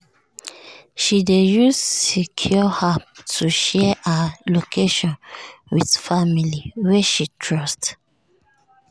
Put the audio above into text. she dey use secure app to share her location with family wey she trust.